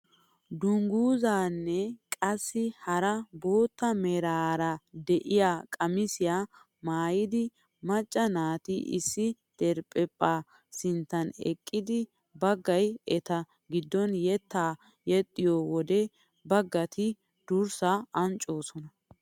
Dunguzaanne qassi hara bootta meraara de'iyaa qamisiyaa maayida macca naati issi diriphphaa sinttan eqqidi baggay eta giddon yettaa yexxiyoo wode baggati durssaa anccoosona!